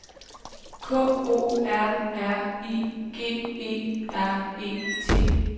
K O R R I G E R E T